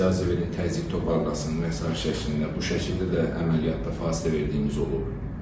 İcazə verin təzyiq toparlasın və sair şəklində, bu şəkildə də əməliyyatda fasilə verdiyimiz olub.